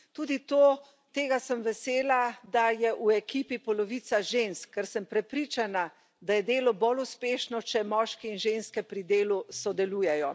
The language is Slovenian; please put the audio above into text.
Tudi tega sem vesela, da je v ekipi polovica žensk, ker sem prepričana, da je delo bolj uspešno, če moški in ženske pri delu sodelujejo.